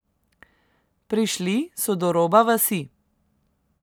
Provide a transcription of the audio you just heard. Prišli so do roba vasi.